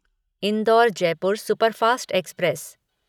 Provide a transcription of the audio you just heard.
indoor Jaipur superfast express